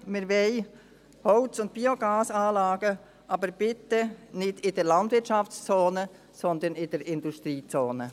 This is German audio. Wir wollen Holz- und Biogasanlagen, aber bitte nicht in der Landwirtschaftszone, sondern in der Industriezone.